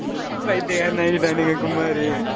பைத்தியக்காரன் ஆக்கிட்டானுங்க குமாரு